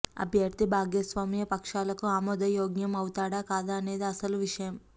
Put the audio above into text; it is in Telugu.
అభ్యర్థి భాగస్వామ్య పక్షాలకు ఆమోదయోగ్యం అవుతాడా కాదా అనేది అసలు విషయం